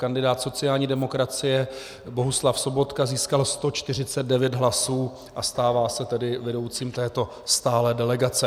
Kandidát sociální demokracie Bohuslav Sobotka získal 149 hlasů a stává se tedy vedoucím této stálé delegace.